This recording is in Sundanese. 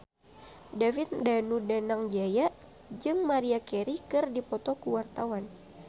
David Danu Danangjaya jeung Maria Carey keur dipoto ku wartawan